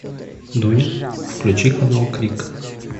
дуня включи канал крик